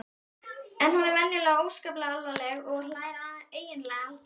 En hún er venjulega óskaplega alvarleg og hlær eiginlega aldrei.